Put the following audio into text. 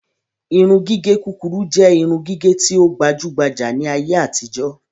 Irun gígé kúkúrú jẹ irun gígé tí o gbajugbaja ni ayé àtijó